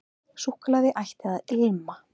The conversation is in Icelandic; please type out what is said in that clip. Súkkulaði ætti að ilma.